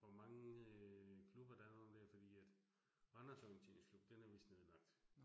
Hvor mange øh klubber der er og dér fordi at Randers Orienterinsklub, den er vist nedlagt